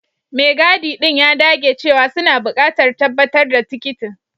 Mai gadi ɗin ya dage cewa suna buƙatar tabbatar da tikitin.